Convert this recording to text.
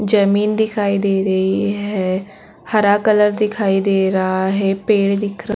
जमीन दिखाई दे रही है हरा कलर दिखाई दे रहा है पेड़ दिख रहा --